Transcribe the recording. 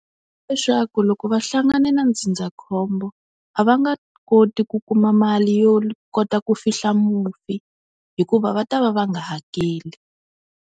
Leswaku loko va hlangane na ndzindzakhombo a va nga koti ku kuma mali yo kota ku fihla mufi, hikuva va ta va va nga hakeli.